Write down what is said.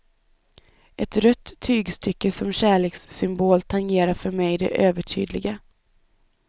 Ett rött tygstycke som kärlekssymbol tangerar för mig det övertydliga.